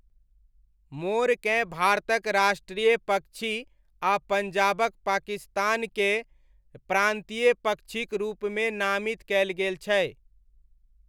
मोरकेँ भारतक राष्ट्रीय पक्षी आ पञ्जाबक पाकिस्तानके प्रान्तीय पक्षीक रूपमे नामित कयल गेल छै।